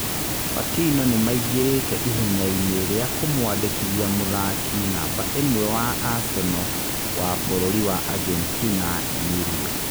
Batino nĩ maingĩrĩte ihenya-inĩ rĩa kũmwandĩkithia mũthaki namba ĩmwe wa Aseno wa bũrũri wa Agetina Emilio